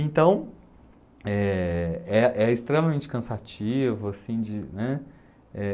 Então, eh, é é extremamente cansativo, assim de, né? Eh